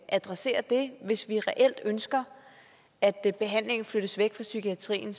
adressere det hvis vi reelt ønsker at at behandlingen flyttes væk fra psykiatrien